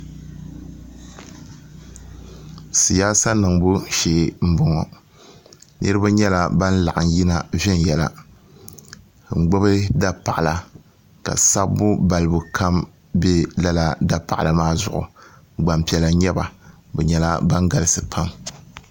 siyaasa niŋbu shee n boŋo niraba nyɛla ban laɣam yina n gbubi dapaɣala ka sabbu balibu kam bɛ dapaɣala maa zuɣu gbanpiɛla n nyɛba bi nyɛla ban galisi pam